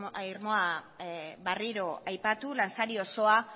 irmoa berriro aipatu lansari osoa